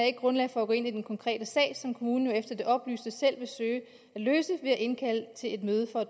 ikke grundlag for at gå ind i den konkrete sag som kommunen jo efter det oplyste selv vil søge at løse ved at indkalde til et møde for